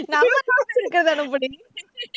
நம்ம இருக்கறத அனுப்புடி